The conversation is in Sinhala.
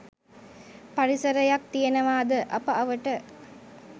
පරිසරයක් තියනවාද අප අවට.